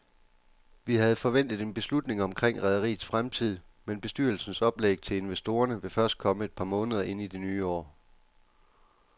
Vi havde forventet en beslutning omkring rederiets fremtid, men bestyrelsens oplæg til investorerne vil først komme et par måneder ind i det nye år.